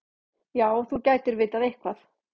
Já, þú gætir vitað eitthvað.